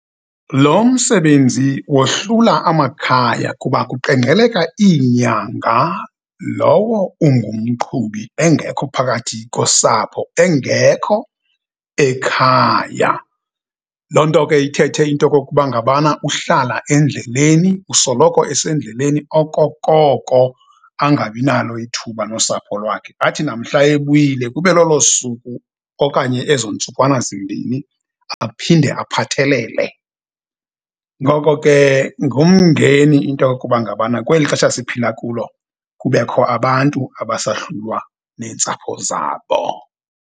Lo msebenzi wohlula amakhaya kuba kuqengqeleka iinyanga lowo ungumqhubi engekho phakathi kosapho, engekho ekhaya. Loo nto ke ithethe into kokuba ngabana uhlala endleleni, usoloko esendleleni okokoko angabi nalo ithuba nosapho lwakhe. Athi namhla ebuyile kube lolo suku okanye ezo ntsukwana zimbini aphinde aphathelele. Ngoko ke, ngumngeni into yokuba ngabana kwelixesha siphila kulo kubekho abantu abasahlulwa neentsapho zabo.